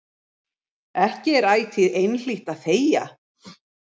Ekki er ætíð einhlítt að þegja.